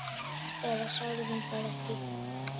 Eða sagði hún það ekki?